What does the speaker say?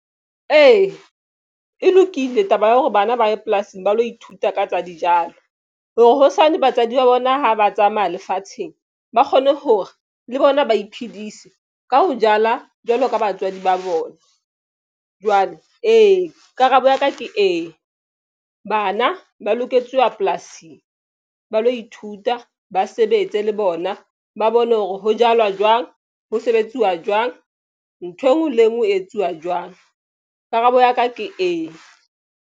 Ee, e lokile taba ya hore bana ba ye polasing ba lo ithuta ka tsa dijalo hore hosane batswadi ba bona ha ba tsamaya lefatsheng ba kgone hore le bona ba iphedise ka ho jala jwalo ka batswadi ba bona jwale ee, karabo ya ka ke ee, bana ba loketswe wa polasing ba lo ithuta ba sebetse le bona. Ba bone hore ho jalwa jwang ho sebetsuwa jwang. Nthwe ngwe le e nngwe e etsuwa jwang. Karabo ya ka ke ee.